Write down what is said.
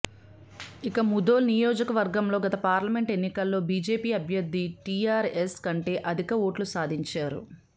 ఇక ముథోల్ నియోజకవర్గంలో గత పార్లమెంట్ ఎన్నికలో బీజేపీ అభ్యర్థి టీఆర్ఎస్ కంటే అధిక ఓట్లు సాధించా రు